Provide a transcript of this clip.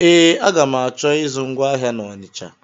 Ee, aga m achọ ịzụ ngwa ahịa na Ọnisha.